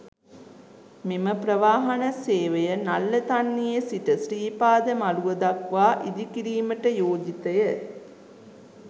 මෙම ප්‍රවාහන සේවය නල්ලතන්නියේ සිට ශ්‍රීපාද මළුව දක්වා ඉදිකිරීමට යෝජිතය.